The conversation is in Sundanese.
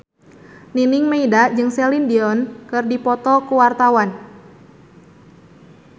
Nining Meida jeung Celine Dion keur dipoto ku wartawan